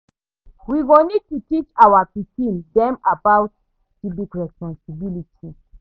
We go need to teach our pikin dem about civic responsibility.